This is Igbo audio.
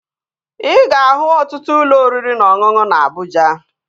Ị ga-ahụ ọtụtụ ụlọ oriri na ọṅụṅụ na Abụja